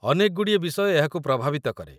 ଅନେକଗୁଡ଼ିଏ ବିଷୟ ଏହାକୁ ପ୍ରଭାବିତ କରେ